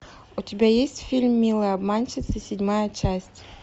у тебя есть фильм милые обманщицы седьмая часть